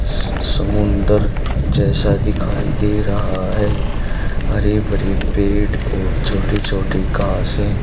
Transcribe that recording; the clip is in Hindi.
स समुंदर जैसा दिखाई दे रहा है हरे भरे पेड़ और छोटी छोटी घासे--